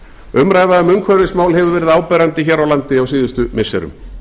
umræða um umhverfismál hefur verið áberandi hér á landi á síðustu missirum